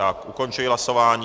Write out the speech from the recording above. Já ukončuji hlasování.